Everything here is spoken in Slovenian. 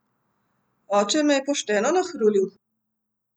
Oče me je pošteno nahrulil!